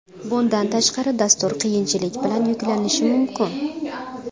Bundan tashqari, dastur qiyinchilik bilan yuklanishi mumkin.